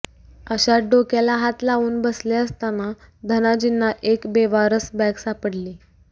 अशात डोक्याला हात लावून बसले असताना धनाजींना एक बेवारस बॅग सापडली